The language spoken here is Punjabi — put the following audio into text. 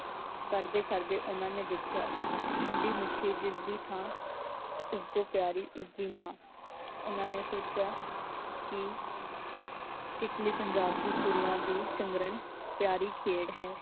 ਕਰਦੇ ਕਰਦੇ ਓਹਨਾਂ ਨੇ ਦੇਖਿਆ ਠੰਡੀ ਮਿੱਠੀ ਜਿਸਦੀ ਥਾਂ ਉਸ ਤੋਂ ਪਿਆਰੀ ਉਸਦੀ ਮਾਂ। ਓਹਨਾਂ ਨੇ ਸੋਚਿਆ ਕੀ ਕਿੱਕਲੀ ਪੰਜਾਬ ਦੀ ਕੁੜੀਆਂ ਦੀ ਹਰਮਨ ਪਿਆਰੀ ਖੇਡ ਹੈ।